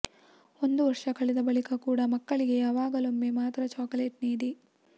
ಒಂದು ವರ್ಷ ಕಳೆದ ಬಳಿಕ ಕೂಡ ಮಕ್ಕಳಿಗೆ ಯಾವಾಗಲೊಮ್ಮೆ ಮಾತ್ರ ಚಾಕಲೇಟ್ ನೀಡಿ